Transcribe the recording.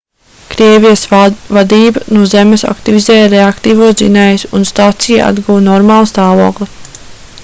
krievijas vadība no zemes aktivizēja reaktīvos dzinējus un stacija atguva normālu stāvokli